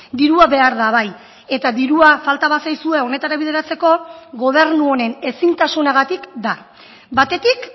dirua behar da bai eta dirua falta bazaizue honetara bideratzeko gobernu honen ezintasunagatik da batetik